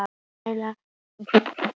Þar lærði ég að vinna.